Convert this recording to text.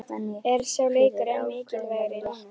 Er sá leikur enn mikilvægari núna?